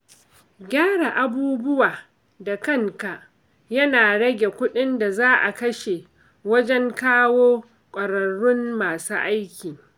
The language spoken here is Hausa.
Gyara abubuwa da kanka yana rage kudin da za a kashe wajen kawo kwararrun masu aiki.